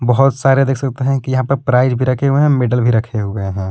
बहुत सारे देख सकते हैं कि यहां पर प्राइज भी रखे हुए हैं मेडल भी रखे हुए हैं।